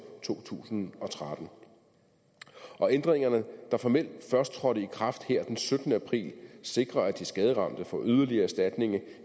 to tusind og tretten og ændringerne der formelt først trådte i kraft her den syttende april sikrer at de skaderamte får yderligere erstatning